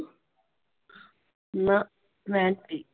ਨਾਂ ਮੈਂ ਨਹੀ।